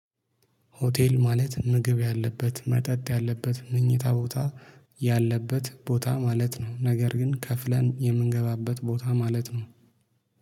ሆቴል ማለት ምግብ ያለበት መጠጥ ያለበት መኝታ ቦታ ያለበት ቦታ ማለት ነው። ነገር ግን ከፍለን የምንገባበት ቦታ ማለት ነው።